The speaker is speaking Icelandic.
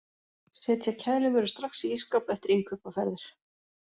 Setja kælivörur strax í ísskáp eftir innkaupaferðir.